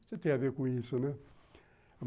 Você tem a ver com isso, né?